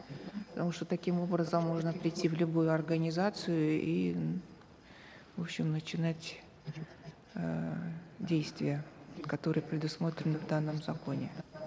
потому что таким образом можно прийти в любую организацию и в общем начинать эээ действия которые предусмотрены в данном законе